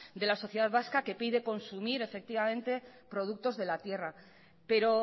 de la sociedad vasca que pide consumir efectivamente productos de la tierra pero